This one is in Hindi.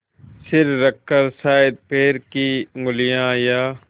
सिर रखकर शायद पैर की उँगलियाँ या